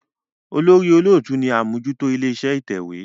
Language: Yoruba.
olórí olóòtú ní ṣe Amojuto ilé-iṣẹ́ ìtẹ̀wé.